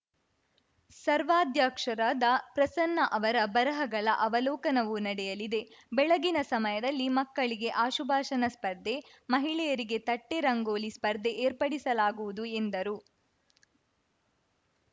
ಸರ್ವಾಧ್ಯಕ್ಷರಾದ ಪ್ರಸನ್ನ ಅವರ ಬರಹಗಳ ಅವಲೋಕನವೂ ನಡೆಯಲಿದೆ ಬೆಳಗಿನ ಸಮಯದಲ್ಲಿ ಮಕ್ಕಳಿಗೆ ಆಶುಭಾಷಣ ಸ್ಪರ್ಧೆ ಮಹಿಳೆಯರಿಗೆ ತಟ್ಟೆರಂಗೋಲಿ ಸ್ಪರ್ಧೆ ಏರ್ಪಡಿಸಲಾಗುವುದು ಎಂದರು